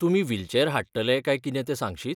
तुमी व्हीलचॅर हाडटले काय कितें तें सांगशीत?